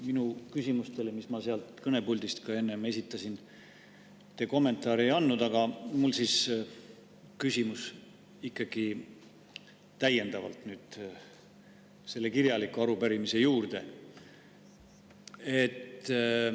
Minu küsimustele, mis ma sealt kõnepuldist enne esitasin, te kommentaari ei andnud, aga mul on nüüd küsimus ikkagi täiendavalt selle kirjaliku arupärimise juurde.